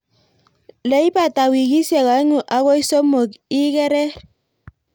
Leibata wikisiek oeng'u akoi somok ikerer.